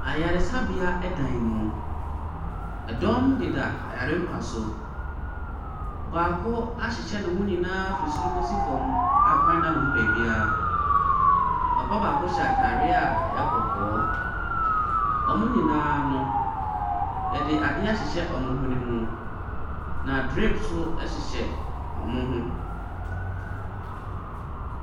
Ayaresabea dan mu, ɛdɔm deda ayare mpa so. Ɔbaako ahyehyɛ ne ho nyinaa firi soro kɔ si fam a kwan nna ne ho baabi ara. Papa baako hyɛ ataare a ɛyɛ kɔkɔɔ. Wɔn nyinaa no, yɛde adeɛ ahyehyɛ wɔn hwene mu. Na drip nso hyɛ wɔn ho.